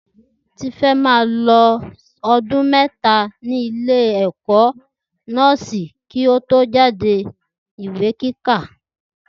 Tifẹ́ ma lo ọdún méta ní ilé ẹkọ nọ́ọ́sì kí o tó jáde Ìwé kíkà